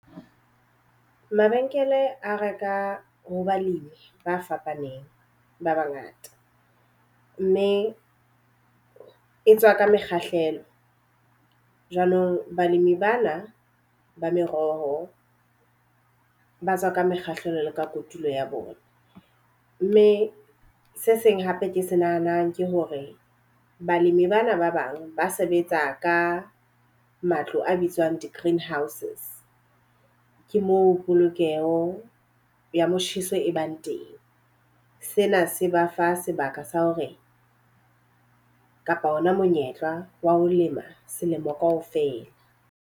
Mabenkele a reka ho balemi ba fapaneng ba ba ngata. Mme e tswa ka mekgahlelo. Jwanong balemi bana ba meroho ba tswa ka mekgahlelo ka kotulo ya bona. Mme se seng hape ke se nahanang ke hore balemi bana ba bang ba sebetsa ka matlo a bitswang di-greenhouses. Ke moo polokeho ya motjheso e bang teng. Sena se ba fa sebaka sa hore kapa ona monyetla wa ho lema selemo ka ofela.